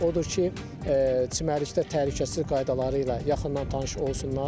Odur ki, çimərlikdə təhlükəsizlik qaydaları ilə yaxından tanış olsunlar.